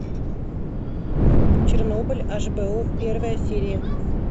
чернобыль аш би о первая серия